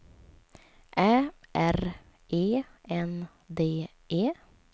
Ä R E N D E